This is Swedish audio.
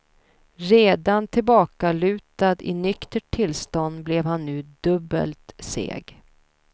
Redan tillbakalutad i nyktert tillstånd blev han nu dubbelt seg.